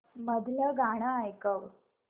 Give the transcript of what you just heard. मधलं गाणं ऐकव